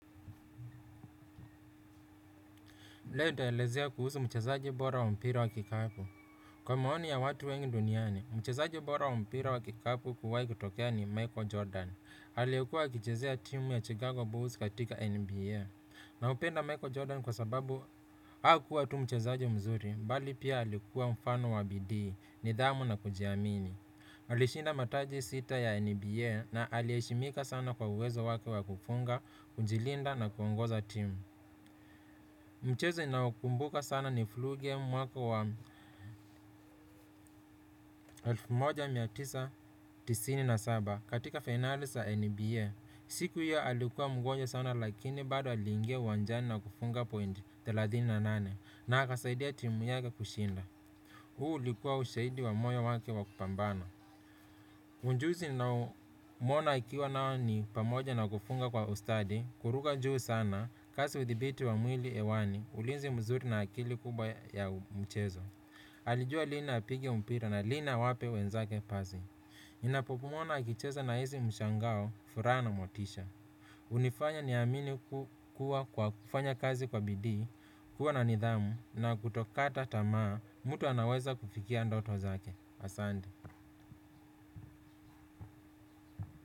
Leo nitaelezea kuhusu mchezaji bora wa mpira wa kikapu. Kwa maoni ya watu wengi duniani, mchezaji bora wa mpira wa kikapu kuwai kutokea ni Michael Jordan. Alikuwa akichezea timu ya Chicago Bulls katika NBA. Na hupenda Michael Jordan kwa sababu hakuwa tu mchezaji mzuri, bali pia aliukua mfano wa bidii, nidhamu na kujiamini. Alishinda mataji sita ya NBA na aliheshimika sana kwa uwezo wake wa kufunga, kujilinda na kuongoza timu. Mchezo ninaokumbuka sana ni flu game mwaka wa elfu moja mia tisa tisini na saba katika finali za NBA. Siku hiyo alikuwa mgonjwa sana lakini bado aliingia uwanjani na kufunga point thelathini na nane na akasaidia timu yake kushinda. Huu ulikuwa ushahidi wa moyo wake wa kupambana. Ujuzi ninaomwona akiwa nao ni pamoja na kufunga kwa ustadi kuruka juu sana kasi uthibiti wa mwili hewani ulinzi mzuri na akili kubwa ya mchezo. Alijua lini apige mpira na lini awape wenzake pasi. Ninapomuona akicheza na hizi mshangao furaha na motisha. Hunifanya niamini kuwa kwa kufanya kazi kwa bidii, kuwa na nidhamu na kutokata tamaa mtu anaweza kufikia ndoto zake. Asante.